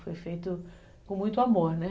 Foi feito com muito amor, né?